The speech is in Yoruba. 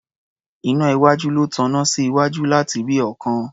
Iná iwájú ló taná sí iwájú láti rí ọ̀ọ́kán.